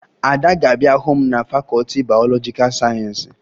Ada ga-abịa hụ m na fakọọti bayọlọjikaa sayensị